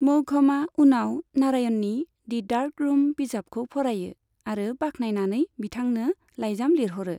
मौघमआ उनाव नारायणनि 'the dark room' बिजाबखौ फरायो आरो बाख्नायनानै बिथांनो लाइजाम लिरहरो।